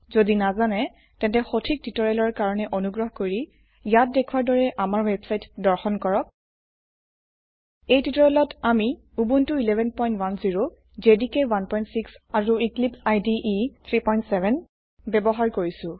যদি নাজানে তেন্তে সঠিক টিউটৰিয়েলৰ কাৰনে অনুগ্ৰহ কৰি ইয়াত দেখোৱাৰ দৰে আমাৰ ৱেবছাইট দৰ্শন কৰক এই টিউটোৰিয়েলত আমি উবুন্টু 1110 জেডিকে 16 আৰু এক্লিপছে ইদে 37 ব্যবহাৰ কৰিছো